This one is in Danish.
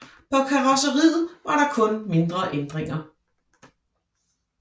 På karrosseriet var der kun mindre ændringer